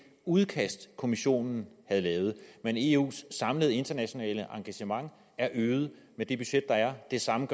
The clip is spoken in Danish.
udkast kommissionen havde lavet men eus samlede internationale engagement er øget med det budget der er det samme